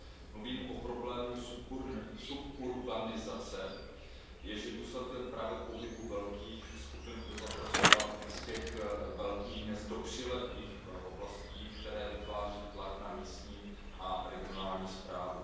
Mluvím o problému suburbanizace, jenž je důsledkem právě pohybu velkých skupin obyvatelstva z těch velkých měst do přilehlých oblastí, které vytváří tlak na místní a regionální správu.